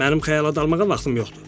Mənim xəyala dalmağa vaxtım yoxdur.